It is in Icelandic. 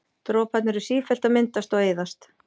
Droparnir eru sífellt að myndast og eyðast.